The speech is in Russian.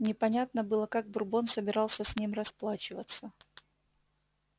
непонятно было как бурбон собирался с ним расплачиваться